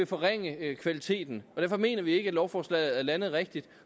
forringe kvaliteten derfor mener vi ikke at lovforslaget er landet rigtigt